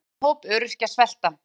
Segir stóran hóp öryrkja svelta